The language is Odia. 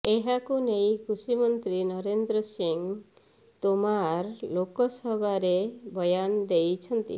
ଏହାକୁ ନେଇ କୃଷି ମନ୍ତ୍ରୀ ନରେନ୍ଦ୍ର ସିଂ ତୋମାର ଲୋକସଭାରେ ବୟାନ ଦେଇଛନ୍ତି